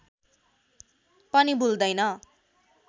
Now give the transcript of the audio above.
पनि भुल्दैन